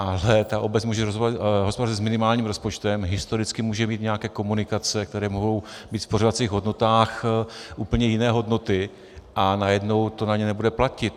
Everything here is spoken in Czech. Ale ta obec může hospodařit s minimálním rozpočtem, historicky může mít nějaké komunikace, které mohou být v pořizovacích hodnotách úplně jiné hodnoty, a najednou to na ně nebude platit.